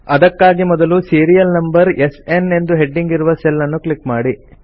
ಅದಕ್ಕಾಗಿ ಮೊದಲು serial number SN ಎಂದು ಹೆಡ್ಡಿಂಗ್ ಇರುವ ಸೆಲ್ ಅನ್ನು ಕ್ಲಿಕ್ ಮಾಡಿ